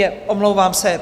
Jé, omlouvám se.